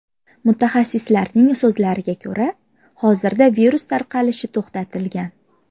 Mutaxassislarning so‘zlariga ko‘ra, hozirda virus tarqalishi to‘xtatilgan.